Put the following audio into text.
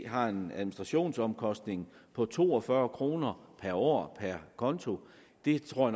har en administrationsomkostning på to og fyrre kroner per år per konto det tror